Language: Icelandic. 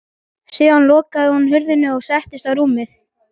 Síðan lokaði hún hurðinni og settist á rúmið.